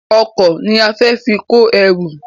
Ọkọ̀ ni a fẹ fi kó ẹrù